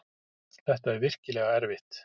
Þetta er virkilega erfitt.